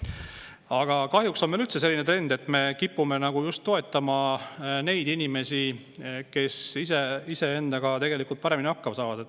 Aga kahjuks on meil üldse selline trend, et me kipume nagu just toetama neid inimesi, kes iseendaga tegelikult paremini hakkama saavad.